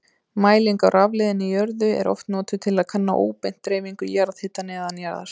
Mæling á rafleiðni í jörðu er oft notuð til að kanna óbeint dreifingu jarðhita neðanjarðar.